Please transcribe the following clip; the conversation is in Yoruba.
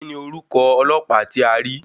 Kíni orúkọ ọlọ́pàá tí a rí?